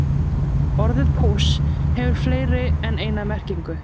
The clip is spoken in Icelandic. Orðið púss hefur fleiri en eina merkingu.